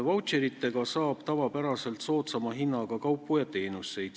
Vautšeritega saab tavapäraselt soodsama hinnaga kaupu ja teenuseid.